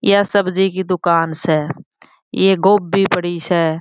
यह सब्जी की दुकान स ये गोब्बी पड़ी स।